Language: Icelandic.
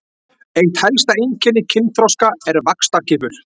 Eitt helsta einkenni kynþroska er vaxtarkippur.